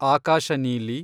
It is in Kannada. ಆಕಾಶ ನೀಲಿ